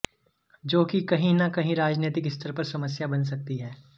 जो कि कहीं ना कहीं राजनीतिक स्तर पर समस्या बन सकती है